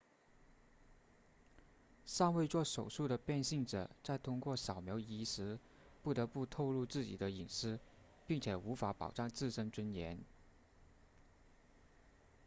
尚未做手术的变性者在通过扫描仪时不得不透露自己的隐私并且无法保障自身尊严